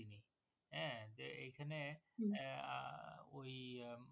তিনি হ্যাঁ যে এইখানে আহ ওই উম